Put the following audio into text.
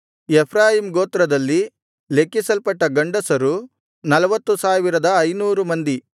Ephraim ಗೋತ್ರದಲ್ಲಿ ಲೆಕ್ಕಿಸಲ್ಪಟ್ಟ ಗಂಡಸರು 40500 ಮಂದಿ